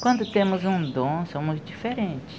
Quando temos um dom, somos diferentes.